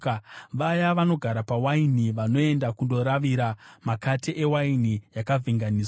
Vaya vanogara pawaini, vanoenda kundoravira makate ewaini yakavhenganiswa.